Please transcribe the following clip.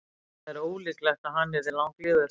það er ólíklegt að hann yrði langlífur